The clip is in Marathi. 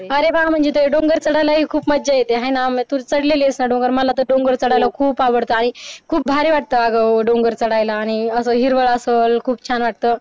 अरे वा म्हणजे तुये डोंगर चढायलाही खूप मज्जा येते हाय ना म्हणजे तू चढलेली आहेत मलातर खूप आवडते आणिखूप भारी वाटत आग ओ डोंगर चढायला आणि असं हिरवळ असाल खूप छान वाटत